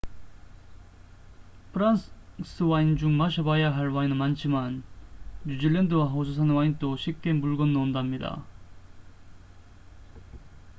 프랑스 와인 중 마셔봐야 할 와인은 많지만 뉴질랜드와 호주산 와인도 쉽게 물 건너 온답니다